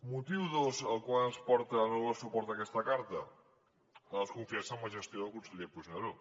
motiu dos que ens porta a no donar suport a aquesta carta la desconfiança amb la gestió del conseller puigneró